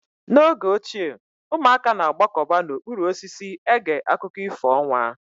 N'oge ochie ụmụaka na-agbakọta n'okpuru osisi ege akụkọ ifo ọnwa.